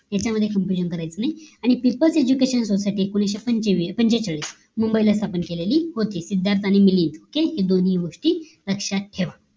यांच्यामध्ये confusion करायचं नाही आणि people education society एकोणीशे पंचेचाळीस मुंबईला स्थापन केलेली होती. सिद्धार्थ आणि मिलींद या दोनी गोष्टी लक्ष्यात ठेवा